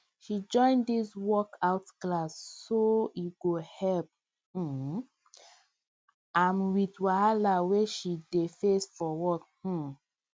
she join di workout class so e go help um am with wahala wey she dey face for work um